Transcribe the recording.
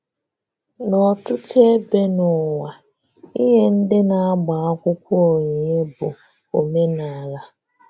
N’ọ̀tụ̀tù̀ ebe n’ụ̀wà, ínyè ndị́ na-agbà akwụkwọ́ onyinye bụ̀ òmenala.